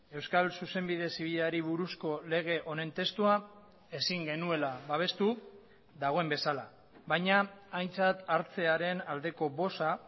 euskal zuzenbide zibilari buruzko lege honen testua ezin genuela babestu dagoen bezala baina aintzat hartzearen aldeko boza